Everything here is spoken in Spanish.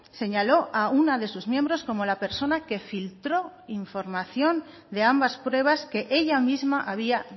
señaló a una de sus miembros como la persona que filtró información de ambas pruebas que ella misma había